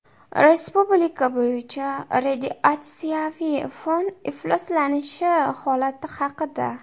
Respublika bo‘yicha radiatsiyaviy fon ifloslanishi holati haqida.